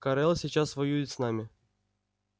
корел сейчас воюет с нами